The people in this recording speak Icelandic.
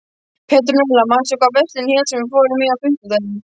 Petrúnella, manstu hvað verslunin hét sem við fórum í á fimmtudaginn?